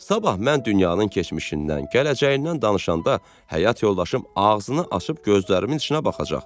Sabah mən dünyanın keçmişindən, gələcəyindən danışanda həyat yoldaşım ağzını açıb gözlərimin içinə baxacaq.